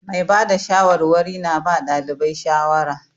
Mai ba da shawarwari na ba ɗalibai shawara.